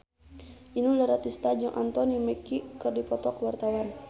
Inul Daratista jeung Anthony Mackie keur dipoto ku wartawan